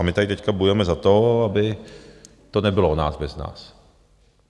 A my tady teď bojujeme za to, aby to nebylo o nás bez nás.